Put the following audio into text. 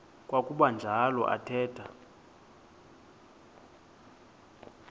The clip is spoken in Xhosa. kwakuba njalo athetha